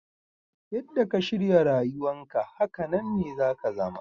Yadda ka shirya rayuwan ka, hakanan ne za ka zama.